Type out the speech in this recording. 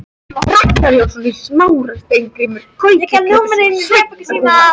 Ragnar Jónsson í Smára, Steingrímur Gautur Kristjánsson, Sveinn Rúnar